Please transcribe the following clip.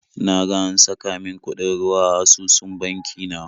Na ga an saka min kuɗin ruwa a asusun banki na